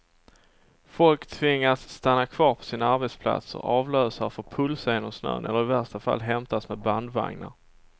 Folk tvingas stanna kvar på sina arbetsplatser, avlösare får pulsa genom snön eller i värsta fall hämtas med bandvagnar.